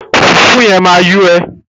Fùfú yẹn máa yó ẹ.